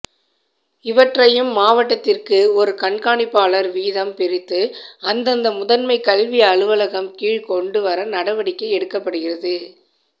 இவற்றையும் மாவட்டத்திற்கு ஒரு கண்காணிப்பாளர் வீதம் பிரித்து அந்தந்த முதன்மை கல்வி அலுவலகம் கீழ் கொண்டு வர நடவடிக்கை எடுக்கப்படுகிறது